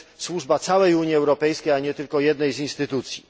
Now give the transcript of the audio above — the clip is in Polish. Jest to służba całej Unii Europejskiej, a nie tylko jednej instytucji.